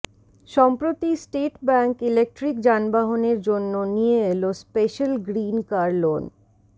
সম্প্রতি State Bank electric যানবাহনের জন্য নিয়ে এল স্পেশ্যাল গ্রিন কার লোন